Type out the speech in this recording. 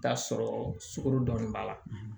Taa sɔrɔ sugoro dɔnni b'a la